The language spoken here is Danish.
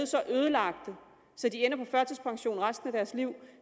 så ødelagte at de ender på førtidspension resten af deres liv